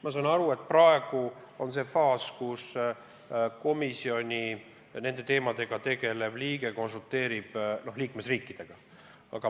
Ma saan aru, et praegu on see faas, kus komisjoni nende teemadega tegelev liige konsulteerib liikmesriikidega.